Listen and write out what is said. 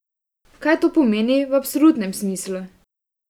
Kaj to pomeni v absolutnem smislu?